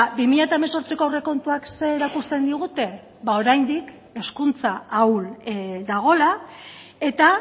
bi mila hemezortziko aurrekontuek zer erakusten digute ba oraindik hezkuntza ahul dagoela eta